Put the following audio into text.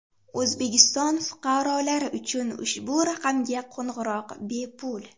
O‘zbekiston fuqarolari uchun ushbu raqamga qo‘ng‘iroq bepul.